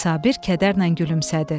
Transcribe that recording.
Sabir kədərlə gülümsədi.